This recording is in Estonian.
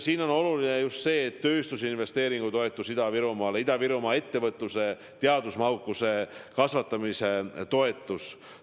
Siin on oluline just tööstusinvesteeringutoetus Ida-Virumaale ja Ida-Virumaa ettevõtluse teadusmahukuse kasvatamise toetus.